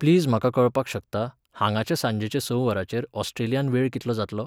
Please म्हाका कळपाक शकता, हांगांचे सांजेचे स वरांचेर ऑस्ट्रेलियांत वेळ कितलो जातलो?